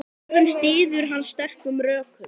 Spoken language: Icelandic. Kröfuna styður hann sterkum rökum.